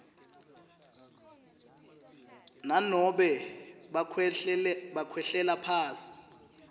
nanobe bakhwehlelela phasi